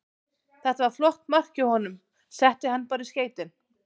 Þetta var flott mark hjá honum, setti hann bara í skeytin.